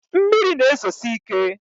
mmiri na-ezosi ike